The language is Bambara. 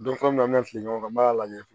an mi na fili ɲɔgɔn kan n b'a lajɛ